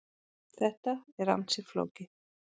Þetta er ansi flókið.